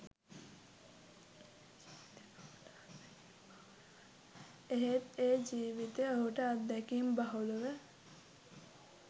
එහෙත් ඒ ජීවිතය ඔහුට අත්දැකීම් බහුල ව